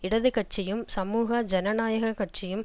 இடது கட்சியும் சமூக ஜனநாயக கட்சியும்